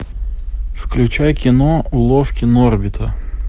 включай кино уловки норвита